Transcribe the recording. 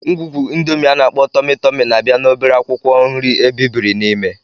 Ngwungwu Indomi ana-akpo Tomi-Tomi na-abịa na obere akwụkwọ nri ebibiri n'ime.